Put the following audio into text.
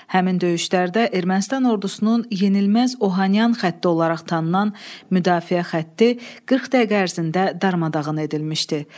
Həmin döyüşlərdə Ermənistan ordusunun yenilməz Ohanyan xətti olaraq tanınan müdafiə xətti 40 dəqiqə ərzində darmadağın edilmişdi.